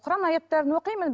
құран аяттарын оқимын